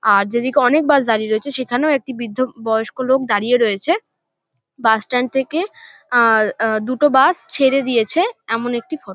আর যেদিকে অনেক বাস দাঁড়িয়ে রয়েছে সেখানেও একটি বৃদ্ধ বয়স্ক লোক দাঁড়িয়ে রয়েছে। বাস স্ট্যান্ড থেকে আ-হ-হ দুটো বাস ছেড়ে দিয়েছে এমন একটি ফট --